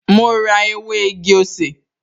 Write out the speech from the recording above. Mo rá ew´ igi-osè